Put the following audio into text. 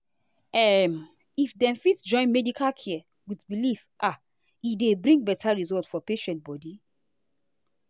um if dem fit join medical care with belief ah e dey bring better result for patient body.